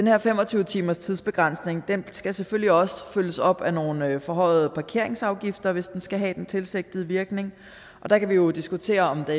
her fem og tyve timers tidsbegrænsning skal selvfølgelig også følges op af nogle forhøjede parkeringsafgifter hvis den skal have den tilsigtede virkning og der kan vi jo diskutere om det